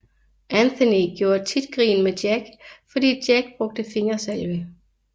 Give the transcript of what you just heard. Anthony gjorde tit grin med Jack fordi Jack brugte fingersalve